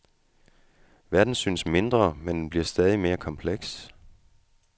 Verden synes mindre, men den bliver stadig mere kompleks.